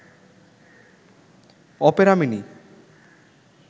Opera mini